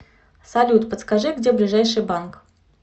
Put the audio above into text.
салют подскажи где ближайший банк